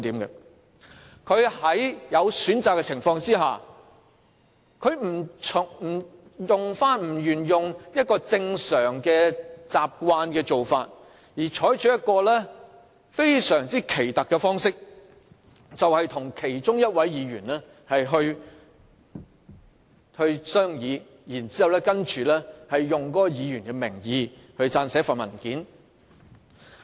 他在有其他選擇的情況下，卻棄用慣常的做法，反而採取一個非常奇特的方式，與其中一位議員商議，然後以該議員的名義撰寫文件。